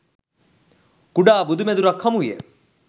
කුඩා බුදුමැදුරක් හමු විය.